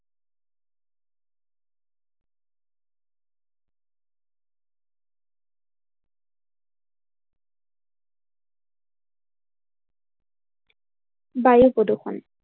বায়ু প্ৰদূৰ্ষন